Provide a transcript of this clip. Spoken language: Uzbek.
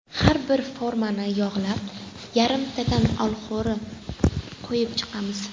Har bir formani yog‘lab, yarimtadan olxo‘ri qo‘yib chiqamiz.